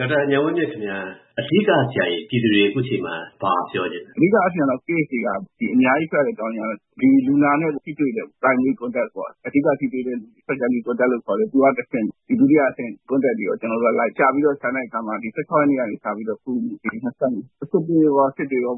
ဒေါက်တာ ဉာဏ်ဝင်းမြင့် ခင်ဗျား ၊ အဓိက ပြည်သူတွေကို အခုအချိန်မှာ ဘာပြောချင်သလဲ။ အဓိကအားဖြင့်တော့ Case တွေက အများကြီးဖြစ်ရတဲ့ အကြောင်းအရင်းကတော့ လူနာနဲ့ ထိတွေ့တာ Primary contact ပေါ့ အဓိက ထိတွေ့သူ၊ နောက်သူက တဆင့် Secondary Contact လို့ခေါ်တဲ့ ဒုတိယ Contact တွေကို၊ ကျနော်တို့ရှာလိုက်တဲ့အခါမှာ ရက်နေ့ကနေ စပြီးတော့ အခု ၊ စစ်တွေရော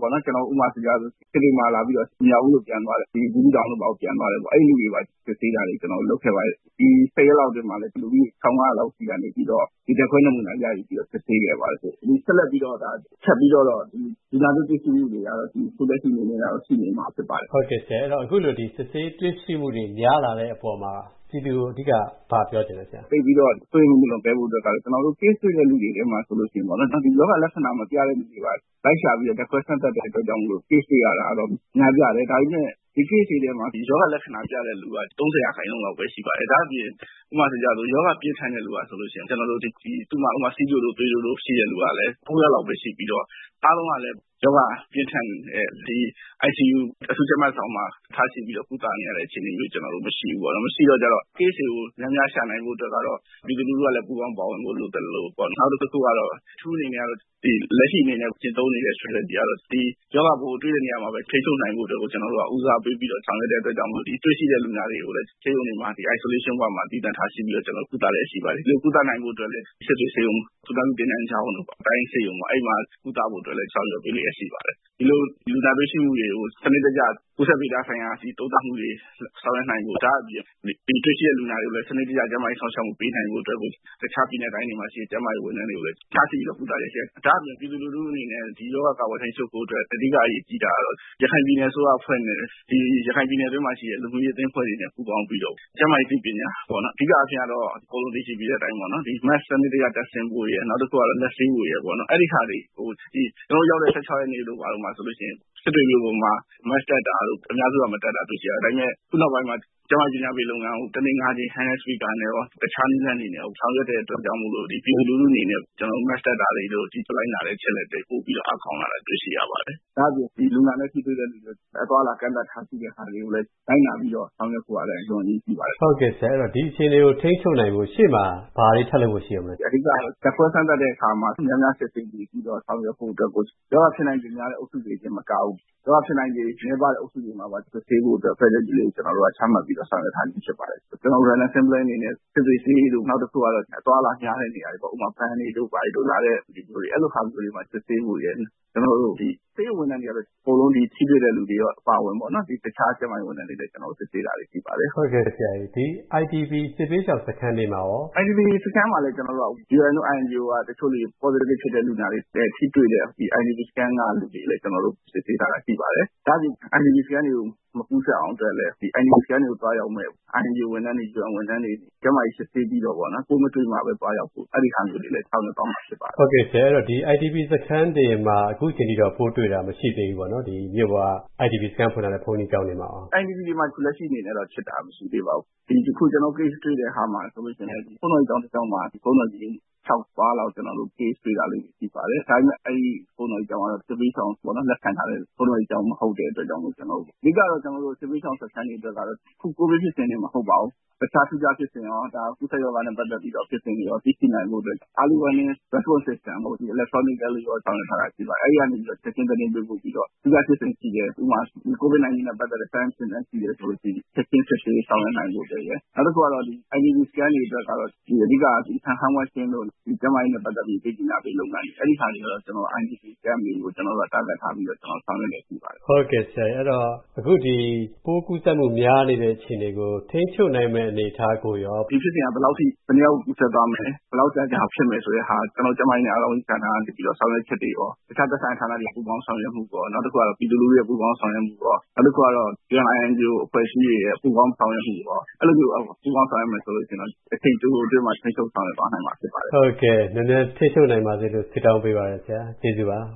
ပေါ့နော်။ ဥပမာဆိုပါတော့ စစ်တွေမှာလာပြီးတော့ မြောက်ဦးကိုပြန်သွားတယ်၊ ဘူးသီးတောင်တို့ဘာတို့ ပြန်သွားတယ်။ အဲဒီလူတွေကိုပါ စစ်ဆေးတာတွေ ကျနော်တို့ လုပ်ခဲ့ပါတယ်။ ဒီ ရက် ဝန်းကျင် အတွင်းမှာလည်း လူ ၁၅၀၀ ဆီကနေပြီးတော့ ဓါတ်ခွဲနမူနာ ရယူပြီးတော့ စစ်ဆေးခဲ့ပါတယ်။ ဆက်လက်ပြီးတော့ ဒါ ထပ်ပြီးတော့တော့၊ ဒီလူနာသစ်တွေ့ရှိမူတွေကတော့၊ ဒီအခုလက်ရှိအနေနဲ့ကတော့ ရှိနေဦးမှာဖြစ်ပါတယ်။ ဟုတ်ကဲ့ ဆရာ အခုလို စစ်ဆေးတွေ့ရှိမှုတွေ များလာတဲ့အပေါ်မှာ ပြည်သူတွေကို အဓိက ဘာပြောချင်သလဲ ဆရာ။ သိပ်ပြီးတော့ စိုးရိမ်မှု မလွန်ကဲဖို့ပေါ့နော်။ ကျနော်တို့ Case တွေ့တဲ့ လူတွေထဲမှာ ဆိုရင် ဒီရောဂါလက္ခဏာမပြတဲ့သူတွေကိုပါ လိုက်ရှာပြီးတော့ ဓါတ်ခွဲစမ်းသပ်တာကြောင့် Case တွေ့တာကတော့ များပြားတယ်။ ဒါပေမယ့် ဒီ Case တွေထဲမှာ ရောဂါလက္ခဏာပြတဲ့သူ ကတော့ ၃၀ ရာခိုင်နှုန်းလောက်ပဲ ရှိပါတယ်။ ဒါ့အပြင် ဥပမာ- ရောဂါပြင်းထန်တဲ့သူဆိုရင် သူ့မှာ ဆီးချိုတို့ ၊ သွေးတိုးတို့ ရှိတဲ့လူကလည်း ယောက်လောက်ပဲရှိပြီးတော့ အားလုံးကလည်း ရောဂါပြင်းထန်တဲ့ ဒီ ICU အထူးကြပ်မတ်ဆောင်မှာ ထားရှိပြီးတော့ ကုသနေရတဲ့ အခြေအနေမျိုး မရှိဘူးပေါ့နော်။ မရှိတဲ့အတွက် Case တွေကို များများရှာနိုင်ဖို့ ပြည်သူကလည်း ပူးပေါင်းပါဝင်ဖို့ လိုသလို၊ နောက်တခုကတော့ အထူးအနေနဲ့ လက်ရှိကျင့်သုံးနေတဲ့ Strategy ကတော့ ရောဂါပိုးကို တွေ့တဲ့နေရာမှာပဲ ထိန်းချုပ်နိုင်ဖို့အတွက်ကို ကျနော်တို့ ဦးစားပေးဆောင်ရွက်တဲ့အတွက်ကြောင့် ဒီတွေ့ရှိတဲ့ လူနာတွေကို ဆေးရုံတွေမှာ Isolation Ward မှာ သီးသန့်ထားရှိပြီးတော့ ကုသလျက် ရှိပါတယ်။ ဒီလိုကုသနိုင်ဖို့ကလည်း စစ်တွေဆေးရုံ ၊ သူနာပြုသင်တန်းကျောင်းတို့၊ တိုင်းရင်းဆေးရုံ အဲဒီမှာ ကုသဖို့အတွက်လည်း ဆောင်ရွက်ပေးလျက်ရှိပါတယ်။ ဒီလို လူနာတွေ့ရှိမှုတွေကို စနစ်တကျ ကူးစက်ဗေဒဆိုင်ရာ ဒီသုံးသပ်မူတွေ ဆောင်ရွက်နိုင်ဖို့၊ ဒါ့အပြင် တွေ့ရှိလူနာတွေကိုလည်း စနစ်တကျ ကျန်းမာရေး စောင့်ရှောက်မှုပေးနိုင်ဖို့ အတွက်ကို၊ တခြားပြည်နယ်နဲ့ တိုင်းတွေမှာရှိတဲ့ ကျန်းမာရေးဝန်ထမ်းတွေကိုလည်း ထားရှိပြီးတော့ ကုသလျက်ရှိပါတယ်။ ဒါ့အပြင် ပြည်သူလူထုအနေနဲ့ ဒီရောဂါ ကာကွယ်ထိန်းချုပ်ဖို့အတွက် အဓိကအရေးကြီးတာကတော့၊ ရခိုင်ပြည်နယ်အစိုးရ အဖွဲ့နဲ့ ရခိုင်ပြည်နယ်အတွင်းမှာရှိတဲ့ လူမှုရေးအသင်းအဖွဲ့တွေနဲ့ ပူးပေါင်းပြီးတော့၊ ကျန်းမာရေးအသိပညာ ၊ အဓိကအားဖြင့်ကတော့ အကုန်လုံးသိရှိပြီးတဲ့အတိုင်းပေါ့နော် Mask ကို စနစ်တကျ တပ်ဆင်ဖို့ရယ်၊ နောက်တခုကတော့ လက်ဆေးဖို့ရယ်ပေါ့နော် အဲဒါတွေကို ကျနော်တို့ ရောက်တဲ့ ၁၆ ရက်နေ့တုန်းကဆိုရင် စစ်တွေမြို့မှာ Mask ကို အများစု မတပ်တာတွေ့ရတယ်။ ဒါကြောင့်မို့ အခုနောက်ပိုင်းမှာ ကျန်းမာရေးပညာပေးလုပ်ငန်းကို တနေ့ ၅ ကြိမ် Speaker နဲ့ရော တခြားနည်းတွေနဲ့ရော ဆောင်ရွက်တဲ့အတွက် ပြည်သူလူထုအနေနဲ့ Mask တပ်တာတွေတို့ လိုက်နာတဲ့ အချက်အလက်တွေ ပိုပြီးတော့ အားကောင်းလာတာတွေ့ရှိရပါတယ်။ ဒါ့အပြင် လူနာနဲ့ ထိတွေ့သူတွေကို အသွားအလာ ကန့်သတ်တာတွေကိုလည်း လိုက်နာပြီးတော့ ဆောင်ရွက်ဖို့ကလည်း အလွန်အရေးကြီးပါတယ်။ ဟုတ်ကဲ့ဆရာ ဒီအခြေအနေကို ထိန်းချုပ်နိုင်ဖို့ အရှေ့မှာ ဘာတွေထပ်လုပ်ဖို့ ရှိဦးမလဲ။ အဓိကတော့ ဓါတ်ခွဲစမ်းသပ်တဲ့အခါမှာ များများစစ်ဆေးနိုင်ဖို့အတွက်။ ရောဂါဖြစ်နိုင်ခြေများတဲ့ အုပ်စုတွေမကဘူး၊ ရောဂါဖြစ်နိုင်ခြေနည်းပါးတဲ့ အုပ်စုတွေမှာပါ စစ်ဆေးဖို့ အတွက် အစီအစဉ်ချပြီးတော့ ဆောင်ရွက်ထားတာဖြစ်ပါတယ်။ ကျနော်တို့ Random Sampling အနေနဲ့ စစ်တွေဈေးတို့ နောက်တခုက အသွားအလာများတဲ့နေရာတွေပေ့ါ ဥပမာ ဘဏ်တွေတို့ အဲလိုဟာမျိုးတွေမှာ စစ်ဆေးဖို့ရယ်။ နောက် ဆေးရုံဝန်ထမ်းတွေကတော့ အကုန်လုံးထိတွေ့တဲ့လူတွေရော အပါအဝင်ပေါ့နော် တခြားကျန်းမာရေးဝန်ထမ်းတွေကိုလည်း ကျနော်တို့ စစ်ဆေးတာရှိပါတယ်။ ဟုတ်ကဲ့ IDP စစ်ဘေးရှောင်စခန်းတွေမှာရော ။ IDP စခန်းတွေမှာလည်း UN တို့ INGO တို့က တချို. Positive ဖြစ်တဲ့ လူနာတွေနဲ့ ထိတွေ့တဲ့ IDP စခန်းကလူတွေကိုလည်း ကျနော်တို့ စစ်ဆေးတာရှိပါတယ်။ ဒါ့အပြင် IDP စခန်းတွေကို မကူးစက်အောင်အတွက်၊ IDP စခန်းတွေကို သွားရောက်မယ့် INGO ဝန်ထမ်းတွေ၊ UN ဝန်ထမ်းတွေကို ကျန်းမာရေး စစ်ဆေးပြီးတော့ ပိုးမတွေ့မှပဲ သွားရောက်ဖို့ အဲဒါမျိုးတွေလည်း ဆောင်ရွက်သွားမှာဖြစ်ပါတယ်။ ဟုတ်ကဲ့ဆရာ IDP စခန်းတွေမှာ အခုအချိန်ထိက ပိုးတွေ့တာမရှိသေးဘူးပေါ့နော် ဒီ မြို့က IDP စခန်းဖွင့်ထားတဲ့ ဘုန်းကြီးကျောင်းတွေမှာရော။ IDP မှာတော့ လက်ရှိအနေနဲ့ ဖြစ်တာမရှိသေးပါဘူး။ တခု ကျနော်တို့ Case တွေ့တာ တခုဆိုရင်လည်း ဘုန်းတော်ကြီးကျောင်းတစ်ကျောင်းမှာ ဘုန်းတော်ကြီး ၆ ပါးလောက် ကျနော်တို့ Case တွေ့တာလေးတွေ ရှိပါတယ်။ ဒါပေမယ့် အဲဒီ ဘုန်းတော်ကြီးကျောင်းကလည်း စစ်ဘေးရှောင် လက်ခံထားတဲ့ ဘုန်းတော်ကြီးကျောင်းမဟုတ်တဲ့အတွက်ကြောင့်မို့ပေါ့နော်။ အဓိကတော့ စစ်ဘေးရှောင်စခန်းတွေအတွက်ကတော့ အခု COVID ဖြစ်တဲ့အချိန်တင်မဟုတ်ဘူး တခြားထူးခြားဖြစ်စဉ်ရော၊ ကူးစက်ရောဂါနဲ့ ပတ်သက်ပြီး ဖြစ်စဉ်တွေအတွက်ရော သိနိုင်ဖို့အတွက် Early Warning System တွေရောကို Electronically ရော၊ ဆောင်ရွက်ထားတာရှိပါတယ်။ အဲဒီကနေ ချက်ချင်း သတင်းပေးပို့ပြီးတော့ ဥပမာ COVID-19 နဲ့ ဆက်စပ်တဲ့ Symptom တွေရှိတယ်ဆိုရင်၊ ချက်ချင်း စစ်ဆေးဆောင်ရွက်နိုင်ဖို့အတွက်လည်းရှိတယ်။ နောက်တခုကတော့ IDP စခန်းတွေအတွက်ဆိုရင် အဓိကအားဖြင့် Hand Wash တို့ ကျန်းမာရေးနဲ့ ပတ်သက်ပြီး အသိပညာပေးလုပ်ငန်းတွေ၊ အဲဒါတွေကတော့ ကျနော်တို့ IDP Camp တွေကို ကျနော်တို့ Target ထားပြီးဆောင်ရွက်နေတာတွေရှိပါတယ်။ ဟုတ်ကဲ့ဆရာရေ အခုဒီ ပိုးကူးစက်မှု များနေတဲ့အခြေအနေကို ထိန်းချုပ်နိုင်မယ့် အနေအထားကိုရော။ ဒီဖြစ်စဉ်က ဘယ်လောက်အထိ၊ ဘယ်နှစ်ယောက် ကူးစက်သွားမယ်၊ ဘယ်လောက်ကြာကြာဖြစ်မယ်ဆိုတာကို၊ ကျနော်တို့ ကျန်းမာရေးနဲ့ အားကစားဝန်ကြီးဌာန ကနေပြီးတော့ ဆောင်ရွက်ချက်တွေရော၊ တခြားသက်ဆိုင်တဲ့ ဌာနတွေ ပူးပေါင်းဆောင်ရွက်မှုရော၊ နောက်တခုက ပြည်သူတွေရဲ့ ပူးပေါင်းဆောင်ရွက်မှုရော၊ နောက်တခုက UN ၊ INGO အဖွဲ့အစည်းတွေရဲ့ ပူးပေါင်းဆောင်ရွက်မှုရော အဲလိုမျိုး ပူးပေါင်းဆောင်ရွက်မယ်ဆိုရင်တော့၊ အချိန်တိုတိုအတွင်းမှာ ထိန်းချုပ်ဆောင်ရွက်သွားနိုင်မှာ ဖြစ်ပါတယ်။ ဟုတ်ကဲ့ မြန်မြန်ထိန်းချုပ်နိုင်ပါစေလို့ ဆုတောင်းပေးပါတယ်ဆရာ ကျေးဇူးပါ။